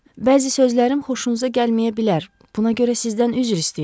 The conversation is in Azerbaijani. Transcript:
Bəzi sözlərim xoşunuza gəlməyə bilər, buna görə sizdən üzr istəyirəm.